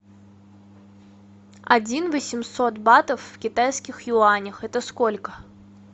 один восемьсот батов в китайских юанях это сколько